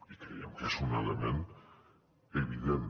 i creiem que és un element evident